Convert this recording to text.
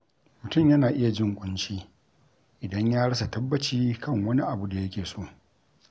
Mutum yana iya jin ƙunci idan ya rasa tabbaci kan wani abu da yake so.